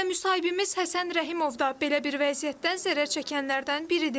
Elə müsahibimiz Həsən Rəhimov da belə bir vəziyyətdən zərər çəkənlərdən biridir.